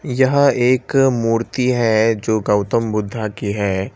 यह एक मूर्ति है जो गौतम बुद्धा की है।